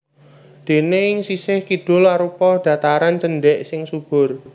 Déné ing sisih kidul arupa dhataran cendhèk sing subur